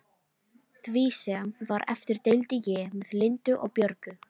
Því sem var eftir deildi ég með Lindu og Björgu.